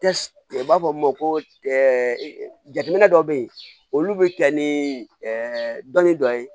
u b'a fɔ min ma ko jateminɛ dɔw bɛ yen olu bɛ kɛ ni dɔnni dɔ ye